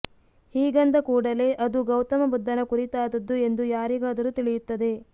ಹೀಗಂದ ಕೂಡಲೇ ಅದು ಗೌತಮ ಬುದ್ದನ ಕುರಿತಾದದ್ದು ಎಂದು ಯಾರಿಗಾದರೂ ತಿಳಿಯುತ್ತದೆ